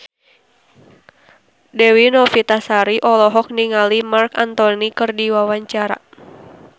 Dewi Novitasari olohok ningali Marc Anthony keur diwawancara